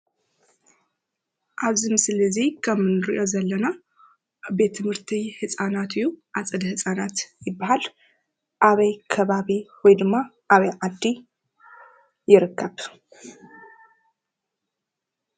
ኣብዚ ምስሊ እዚ ከምእንሪኦ ዘለና ቤት ትምህርቲ ህፃናት እዩ፡፡ ኣፀደ ህፃናት ይበሃል፡፡ ኣበይ ከባቢ ወይ ድማ ኣበይ ዓዲ ይርከብ?